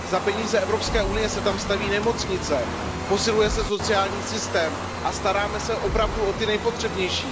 Za peníze Evropské unie se tam staví nemocnice, posiluje se sociální systém a staráme se opravdu o ty nejpotřebnější.